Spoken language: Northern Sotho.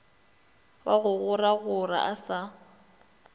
wa go goragora a sa